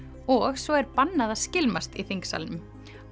og svo er bannað að skylmast í þingsalnum